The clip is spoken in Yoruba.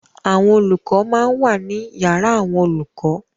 Àwọn olùkọ máa ń wà ní yàrá àwọn olùkọ.